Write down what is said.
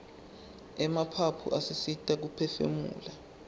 emaphaphu asisita kuphefumula